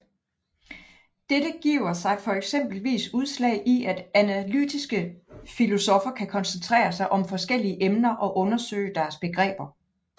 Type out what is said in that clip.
Dette giver sig eksempelvis udslag i at analytiske filosoffer kan koncentrere sig om forskellige emner og undersøge deres begreber